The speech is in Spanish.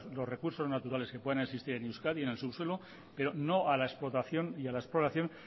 los recursos naturales que puedan existir en euskadi en el subsuelo pero no a la explotación y a la exploración